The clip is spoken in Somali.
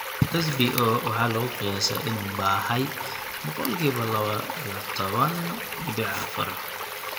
SBO waxa lagu qiyaasaa in uu baahay boqolkiba laba iyo toban dibic afar.